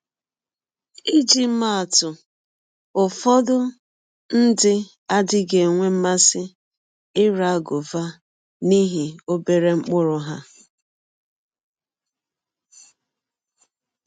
Iji maa atụ: Ụfọdụ ndị adịghị enwe mmasị ịra gọva n’ihi ọbere mkpụrụ ha.